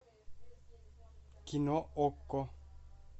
кино окко